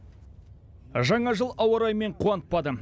жаңа жыл ауа райымен қуантпады